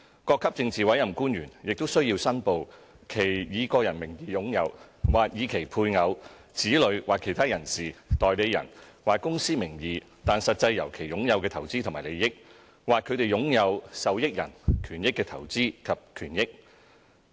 各級政治委任官員也須申報其以個人名義擁有；或以其配偶、子女或其他人士、代理人或公司名義但實際由其擁有的投資和利益；或他們擁有受益人權益的投資及權益。